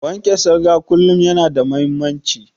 Wanke salga kullum yana da muhimmanci